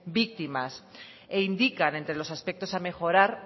víctimas e indican entre los aspectos a mejorar